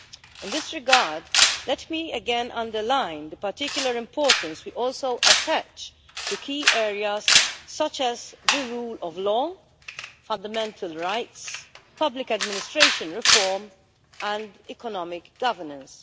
In this regard, let me again underline the particular importance we also attach to key areas such as the rule of law, fundamental rights, public administration reform and economic governance.